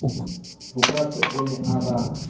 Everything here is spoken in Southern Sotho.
bokatse o ne a ba